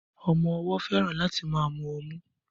Ọmọ-ọwọ́ fẹ́ràn láti máa mu ọmú